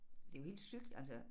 Det jo helt sygt altså